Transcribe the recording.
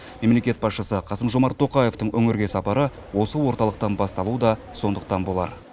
мемлекет басшысы қасым жомарт тоқаевтың өңірге сапары осы орталықтан басталуы да сондықтан болар